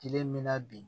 Kelen min na bi